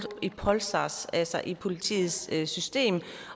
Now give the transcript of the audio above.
i polsas altså i politiets system